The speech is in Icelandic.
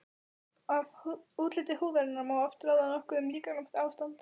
Af útliti húðarinnar má oft ráða nokkuð um líkamlegt ástand.